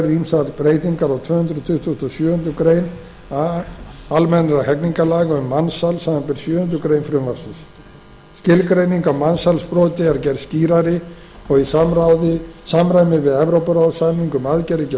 ýmsar breytingar á tvö hundruð tuttugustu og sjöundu grein a almennra hegningarlaga um mansal samanber sjöundu greinar frumvarpsins skilgreining á mansalsbroti er gerð skýrari og í samræmi við evrópuráðssamning um aðgerðir